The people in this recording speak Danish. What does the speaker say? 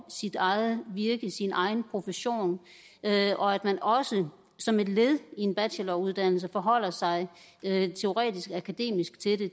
sit eget virke sin egen profession og at man også som et led i en bacheloruddannelse forholder sig teoretisk akademisk til det